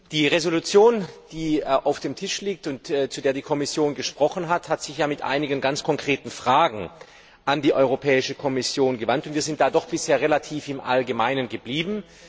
Die Entschließung, die auf dem Tisch liegt, und zu der die Kommission gesprochen hat, hat sich ja mit einigen ganz konkreten Fragen an die Europäische Kommission gewandt, und wir sind da bisher doch relativ im Allgemeinen geblieben.